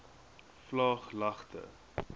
vlaaglagte